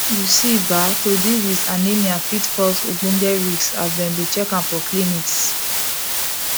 you see ba to deal with anemia fit cause ogboge risks as dem dey check am for clinics